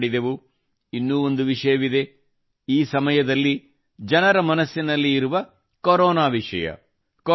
ನನ್ನ ಪ್ರಿಯ ದೇಶಬಾಂಧವರೆ ಮನದ ಮಾತಿನಲ್ಲಿ ಈ ಬಾರಿಯೂ ನಾವು ಅನೇಕ ವಿಷಯಗಳ ಬಗ್ಗೆ ಮಾತನಾಡಿದೆವು